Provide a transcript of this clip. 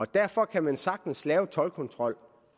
derfor kan man sagtens lave toldkontrol